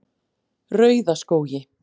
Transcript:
Rauðaskógi